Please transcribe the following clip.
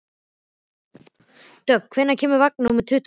Dögg, hvenær kemur vagn númer tuttugu og þrjú?